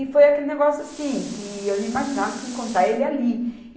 E foi aquele negócio assim, que eu não imaginava que ia encontrar ele ali.